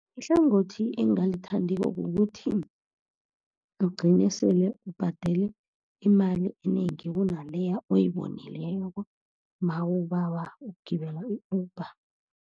Ihlangothi engingalithandiko kukuthi ugcine sele ubhadele imali enengi kunaleya oyibonileko, nawubawa ukugibela i-Uber.